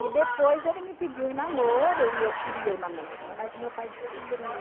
E depois ele me pediu em namoro e eu queria o namoro, mas o meu pai descobriu.